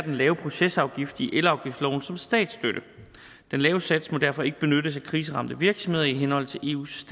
lave procesafgift i elafgiftsloven som statsstøtte den lave sats må derfor ikke benyttes af kriseramte virksomheder i henhold til eus